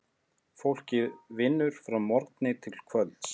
Fólkið vinnur frá morgni til kvölds.